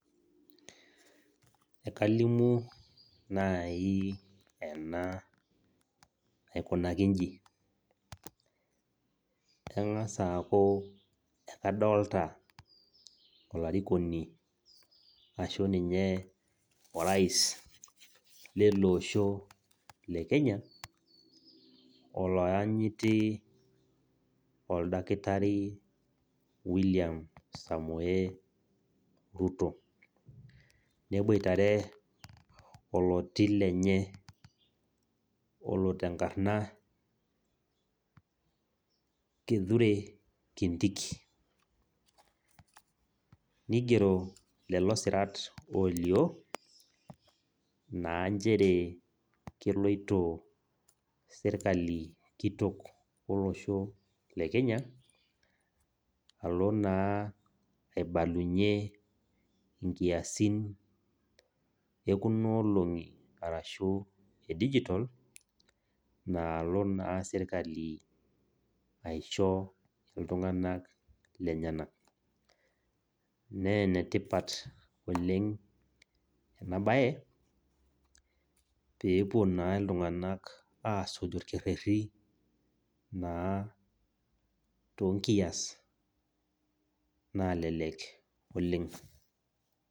Enkalimu nai ena aikunaki inji , kengas aaku ekadolta olarikoni ashu ninye orais leleosho lekenya , oloyanyiti , oldakitari william samoe ruto , neboitare oloti lenye olotenkarna kithure kindiki nigero lelo sirt olio naa nchere keloito sirkali kitok olosho lekenya alo naa aibalunyie nkiasin ekuna olongi aashu edigital nalo naa sirkali aisho iltunganak lenyenak , naa enetipat oleng enabae , pepuo naa iltunganak asuj orkereti naa toonkias nalelek oleng.